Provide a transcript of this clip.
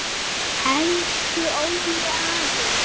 Elsku Óli afi.